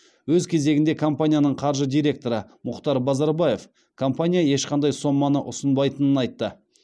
өз кезегінде компанияның қаржы директоры мұхтар базарбаев компания ешқандай соманы ұсынбайтынын айтты